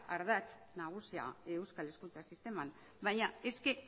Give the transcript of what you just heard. adartz nagusia euskal hezkuntzan sisteman baina es que